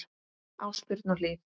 Ásbjörn og Hlíf.